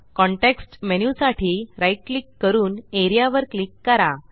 context menu साठी right click करून A R E A वर क्लिक करा